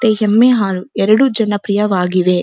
ಮತ್ತೆ ಎಮ್ಮೆ ಹಾಲು ಎರಡು ಜನ ಪ್ರಿಯವಾಗಿವೆ.